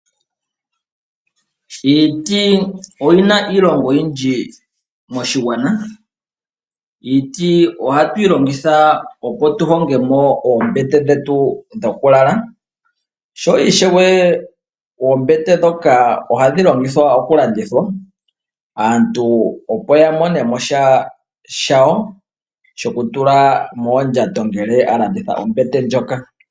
Iiti oyina iilonga oyindji moshigwana. Iiti ohatu yi longithwa opo tu honge mo oombete dhetu dhokulala. Sho ishewe oombete ndhoka ohadhi longithwa okulandithwa aantu opo ya mone mo sha shawo shoku tula moondjato ngele alanda ombete ndjoka.